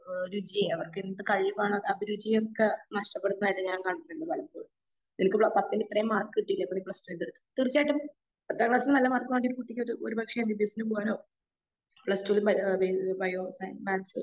ഒരു രുചി അവർക്ക് എന്ത് കഴിവാണ് അഭിരുചിയൊക്കെ നഷ്ടപ്പെടുന്നത് കാണുന്നതുണ്ട് ഞാൻ പലപ്പോഴും. നിനക്ക് പത്തില് ഇത്രയും മാർക്ക് കിട്ടിയില്ലേ അപ്പൊ ഇനി പ്രശ്നന്ത്‌ തീർച്ചയായിട്ടും പത്താം ക്ലാസ്സിൽ നല്ല മാർക്ക് വാങ്ങിയ ഒരു കുട്ടിക്ക് ഒരു ഒരു പക്ഷെ എംബിബിസിന് പോകാനോ പ്ലസ്ടുവിനു ബയോളജി ബയോ സയൻസോ മാത്‍സൊ